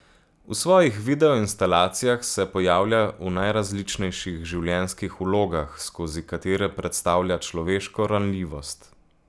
V svojih videoinstalacijah se pojavlja v najrazličnejših življenjskih vlogah, skozi katere predstavlja človeško ranljivost.